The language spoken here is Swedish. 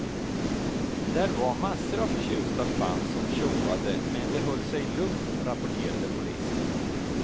Där var massor av förtjusta fans som tjoade men det höll sig lugnt, rapporterade polisen.